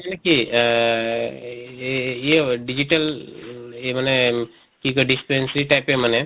মানে কি আহ এঅ digital এহ মানে কি কয় dispensary type য়ে মানে